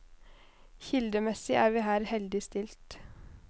Kildemessig er vi her heldig stilt.